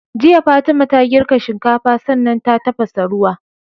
Jiya fatima ta girka shinkafa sannan ta tafasa ruwa